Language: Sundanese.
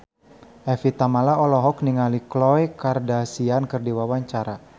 Evie Tamala olohok ningali Khloe Kardashian keur diwawancara